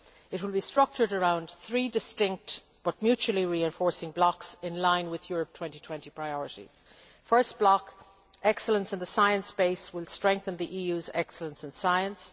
It will be structured around three distinct but mutually reinforcing blocks, in line with Europe 2020 priorities. The first block, Excellence in the science base', will strengthen the EU's excellence in science.